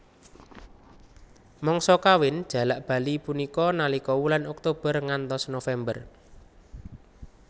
Mangsa kawin jalak bali punika nalika wulan Oktober ngantos November